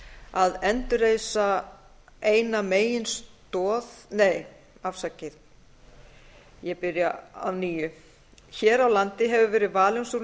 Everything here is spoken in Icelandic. að endurreisa eina meginstoð nei afsakið ég byrja að nýju hér á landi hefur verið valin sú